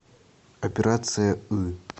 операция ы